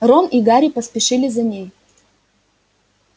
рон и гарри поспешили за ней